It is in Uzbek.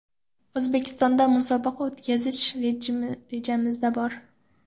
O‘zbekistonda musobaqa o‘tkazish rejamizda bor.